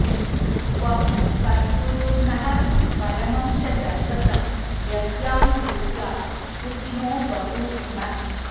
त्वं सद्गुरुर्नः परमं च दैवतं यस्यानुवृत्त्या कृतिनो बभूविम